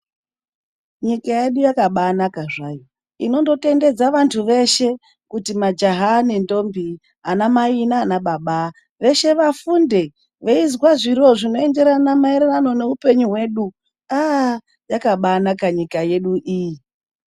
Nyika yedu yakabanaka zvayo inondotendedza vanhu veshe kuti majaha nendombi, ana mai naana baba, veshe vafunde veizwa zviro zvinoenderana maererano neupenyu hwedu, aah yakabaanaka nyika yedu iyi.